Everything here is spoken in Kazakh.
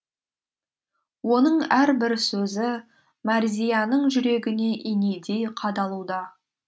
оның әрбір сөзі мәрзияның жүрегіне инедей қадалуда